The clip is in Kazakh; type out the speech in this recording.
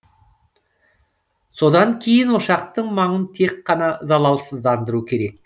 содан кейін ошақтың маңын тек қана залалсыздандыру керек